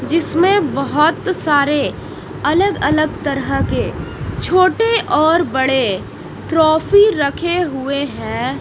जिसमें बहोत सारे अलग अलग तरह के छोटे और बड़े ट्रॉफी रखे हुए हैं।